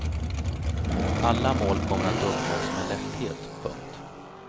Alla mål kommer att uppnås med lätthet. punkt